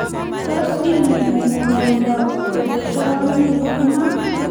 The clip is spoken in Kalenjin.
tos inemu ng'wanindo kerichoni iman